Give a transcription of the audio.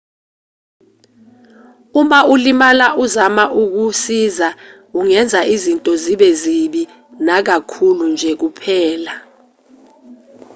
uma ulimala uzama ukusiza ungenza izinto zibe zibi nakakhulu nje kuphela